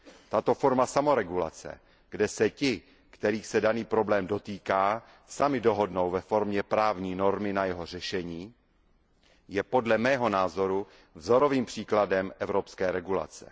Tato forma samoregulace, kde se ti, kterých se daný problém dotýká, sami dohodnou ve formě právní normy na jeho řešení, je podle mého názoru vzorovým příkladem evropské regulace.